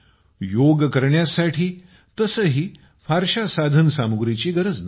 योग करण्यासाठी तसेही फारशा साधन सामुग्रीची गरज नसते